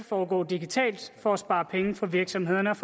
foregå digitalt for at spare penge for virksomhederne og